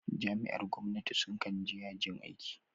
Jami'ar gwamnati su kan je yajin aiki